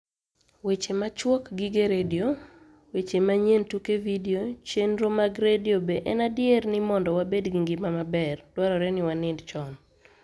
Weche machuok gige redio weche maniyieni tuke vidio cheniro mag redio be eni adier nii monido wabed gi nigima maber, dwarore nii waniinid choni?